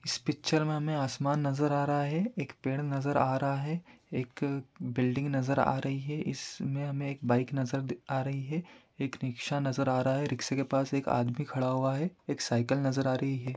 इस पिच्चर में हमे आसमान नजर आ रहा है | एक पेड़ नजर आ रहा है | एक बिल्डिंग नजर आ रही है | इसमें हमें एक बाइक नजर आ रही है | एक रिक्शा नजर आ रहा है | रिक्शे के पास एक आदमी खड़ा हुआ है एक साइकल नजर आ रही है।